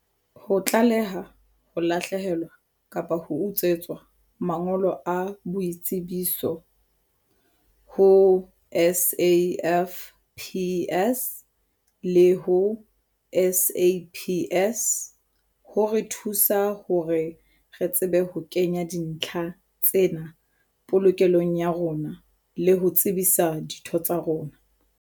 Ho tlaleha ho lahlehelwa kapa ho utswetswa mangolo a boitsebiso ho SAFPS le ho SAPS ho re thusa hore re tsebe ho kenya dintlha tsena polokelong ya rona le ho tsebisa ditho tsa rona.